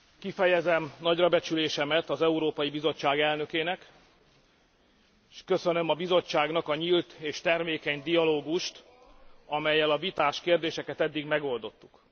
Kifejezem nagyrabecsülésemet az Európai Bizottság elnökének, és köszönöm a Bizottságnak a nyílt és termékeny dialógust, amellyel a vitás kérdéseket eddig megoldottuk.